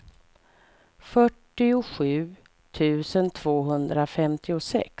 fyrtiosju tusen tvåhundrafemtiosex